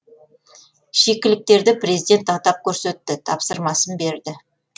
шикіліктерді президент атап көрсетті тапсырмасын берді